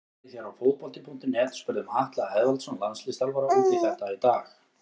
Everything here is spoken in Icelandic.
Við hér á Fótbolti.net spurðum Atla Eðvaldsson landsliðsþjálfara út í þetta í dag.